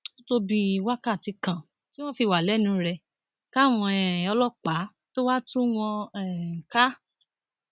ó tó bíi wákàtí kan tí wọn fi wà lẹnu rẹ káwọn um ọlọpàá tóo wáá tú wọn um ká